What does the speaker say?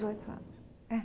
Dezoito anos? É